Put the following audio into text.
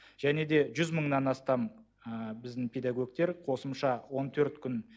және де жүз мыңнан астам біздің педагогтер қосымша он төрт күн